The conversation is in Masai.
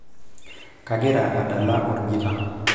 kagira adala olgita